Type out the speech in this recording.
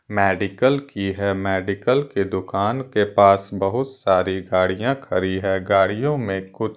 Medical की हैं। Medical की दुकान के पास बहुत सारी गाड़ियां खड़ी है। गाड़ियों में कुछ--